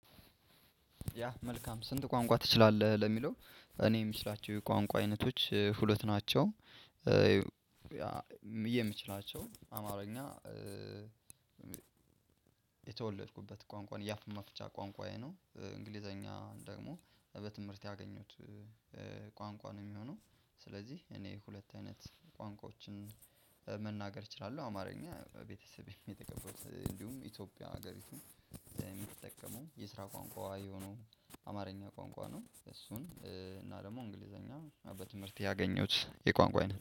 ያ መልካም ስንት ቋንቋ ትችላለህ ለሚለው እኔ የምችላቸው የቋንቋ አይነቶች ሁለት ናቸው። የምችላቸው አማርኛ የተወለድኩበት ቋንቋን የአፍ መፍቻ ቋንቋዬ ነው እንግሊዘኛ ደግሞ በትምህርት ያገኘውት ቋንቋ ነው። የሚሆነው ስለዚህ እኔ ሁለት አይነት ቋንቋዎችን መናገር እችላለሁ። አማርኛ ቤተሰቤም የተቀልኩ እንዲሁም ኢትዮጵያ ሀገሪቱም የምትጠቀመው የስራ ቋንቋዋ የሆነው አማርኛ ቋንቋ ነው። እሱን እና ደግሞ እንግሊዘኛ በትምህርት ያገኘሁት የቋንቋ አይነት